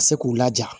Ka se k'u laja